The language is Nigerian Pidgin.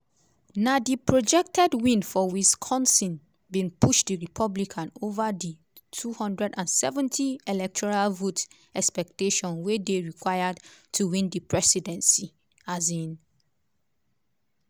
na di projected win for wisconsin bin push di republican ova di 270 electoral vote expectation wey dey required to win di presidency. um